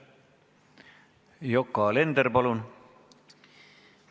Yoko Alender, palun!